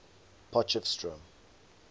potchefstroom